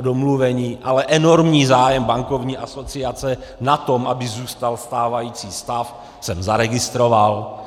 domluveni, ale enormní zájem Bankovní asociace na tom, aby zůstal stávající stav, jsem zaregistroval.